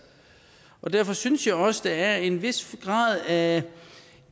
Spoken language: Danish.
derfor synes jeg også at der er en vis grad af